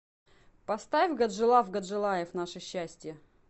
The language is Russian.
поставь гаджилав гаджилаев наше счастье